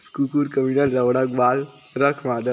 cooker कमीना लौड़ा के बाल मादर चो--